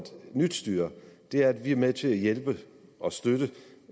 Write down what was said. nyt styre er at vi er med til at hjælpe og støtte